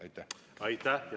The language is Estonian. Aitäh!